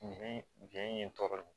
Biɲɛ ye n tɔɔrɔ ye